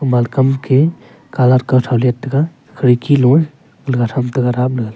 age kam ke colour kuthow let tega khirki low a lawga tham tega daple a.